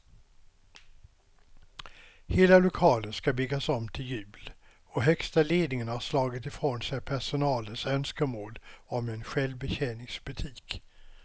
Hela lokalen ska byggas om till jul och högsta ledningen har slagit ifrån sig personalens önskemål om en självbetjäningsbutik.